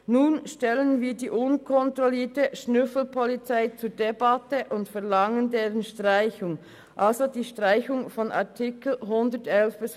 Nun stellen wir die unkontrollierte Schnüffelpolizei zur Debatte und verlangen deren Streichung, also die Streichung der Artikel 111 bis 113.